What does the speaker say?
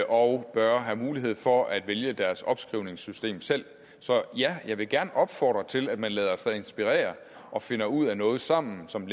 og bør have mulighed for at vælge deres opskrivningssystem selv så ja jeg vil gerne opfordre til at man lader sig inspirere og finder ud af noget sammen som